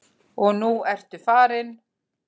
Og nú ertu farin.